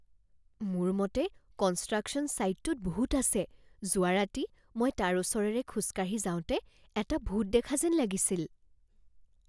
মোৰ মতে কনষ্ট্ৰাকশ্যন ছাইটটোত ভূত আছে। যোৱা ৰাতি মই তাৰ ওচৰেৰে খোজকাঢ়ি যাওঁতে এটা ভূত দেখা যেন লাগিছিল।